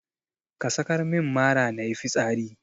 Ka sakar min mara nayi fitsari.